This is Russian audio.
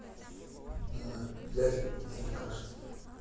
дядька блин алкаш сука